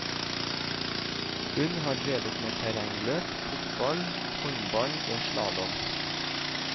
Hun har drevet med terrengløp, fotball, håndball og slalåm.